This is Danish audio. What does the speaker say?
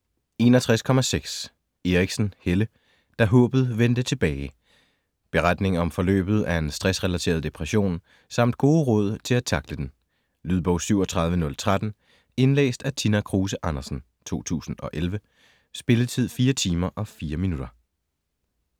61.6 Eriksen, Helle: Da håbet vendte tilbage Beretning om forløbet af en stressrelateret depression samt gode råd til at tackle den. Lydbog 37013 Indlæst af Tina Kruse Andersen, 2011. Spilletid: 4 timer, 4 minutter.